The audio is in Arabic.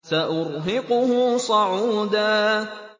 سَأُرْهِقُهُ صَعُودًا